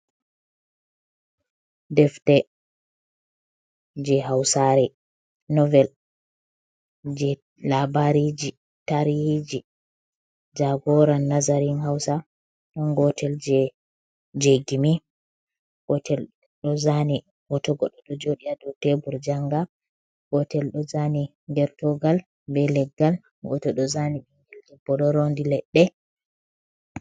Defte je hausare novel je labariji tarijhi jagora nazarin hausa ɗon gotel je gimi, gotel ɗo zani hoto goɗɗo ɗo joɗi ha dow tebr janga, gotel ɗo zani gertogal be leggal, gotel ɗo zani debbo ɗo rondi leɗɗe.